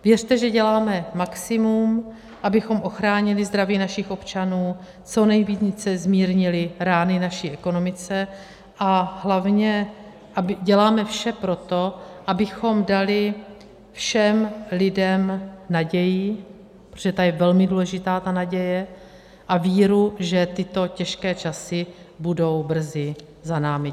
Věřte, že děláme maximum, abychom ochránili zdraví našich občanů, co nejvíce zmírnili rány naší ekonomice, a hlavně děláme vše pro to, abychom dali všem lidem naději, protože ta je velmi důležitá, ta naděje, a víru, že tyto těžké časy budou brzy za námi.